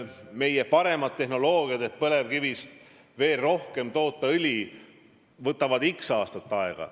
Me vajame paremaid tehnoloogiaid, et põlevkivist veel rohkem õli toota, aga see võtab x aastat aega.